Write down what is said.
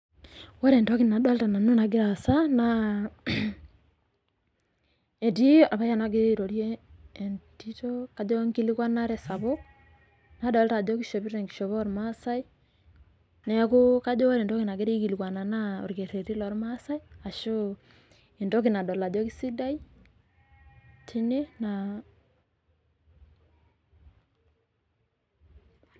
Ore entoki nadolita nanu egira aasa naa, etii olpayian ogira airorie entito ajo enkilikwanare sapuk. Nadolita ajo keishopo enkishopo oolmaasai, neaku kajo ore entoki nagira aikilikwana naa olkereti loolmaasai ashu entoki nadol ajo keisidai tene naa.